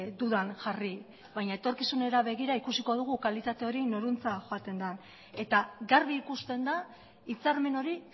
dudan jarri baina etorkizunera begira ikusiko dugu kalitate hori norentzat joaten da eta garbi ikusten da hitzarmen hori